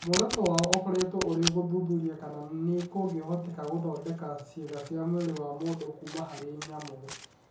Muoroto wao ũkoretwo ũrĩ gũthuthuria kana nĩ kũngĩhoteka gũthondeka ciĩga cia mwĩrĩ wa mũndũ kuuma harĩ nyamũ.